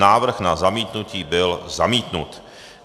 Návrh na zamítnutí byl zamítnut.